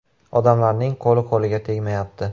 Odamlarning qo‘li-qo‘liga tegmayapti.